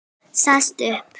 Sest upp.